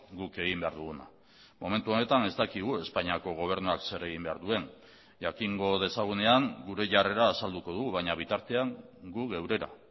guk egin behar duguna momentu honetan ez dakigu espainiako gobernuak zer egin behar duen jakingo dezagunean gure jarrera azalduko dugu baina bitartean gu geurera